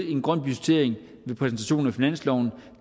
en grøn budgettering ved præsentationen af finansloven